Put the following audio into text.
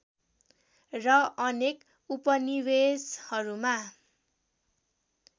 र अनेक उपनिवेशहरूमा